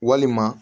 Walima